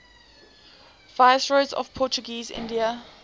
viceroys of portuguese india